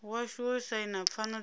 washu wo saina pfano dza